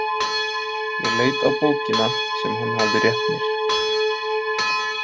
Ég leit á bókina sem hann hafði rétt mér.